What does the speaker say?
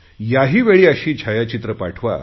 याहीवेळी अशी छायाचित्रे पाठवा